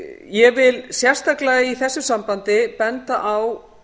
ég vil sérstaklega í þessu sambandi benda á